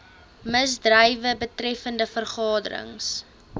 misdrywe betreffende vergaderings